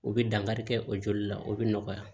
O bɛ dankari kɛ o joli la o bɛ nɔgɔya